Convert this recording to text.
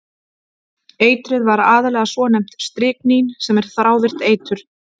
Eitrið var aðallega svonefnt stryknín sem er þrávirkt eitur.